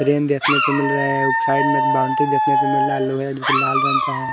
हिरन देखने को मिल रहा है साइड में बाउंड्री देखने को मिल रहा है लोहे लाल रंग का है।